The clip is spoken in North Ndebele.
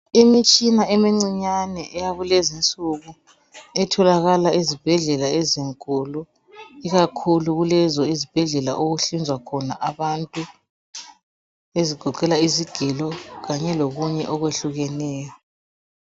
Imitshina emincinyane yakulezi nsuku etjolakala ezibhedlela ezinkulu ikakhulu kulezo izibhedlela okuhlinzelwa khona abantu ezigoqela izigilo kanye lokunye okuhlukeneyo